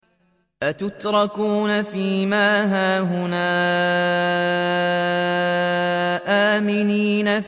أَتُتْرَكُونَ فِي مَا هَاهُنَا آمِنِينَ